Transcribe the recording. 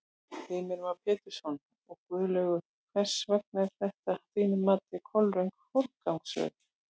Heimir Már Pétursson: Og Guðlaugur, hvers vegna er þetta að þínu mati kolröng forgangsröðun?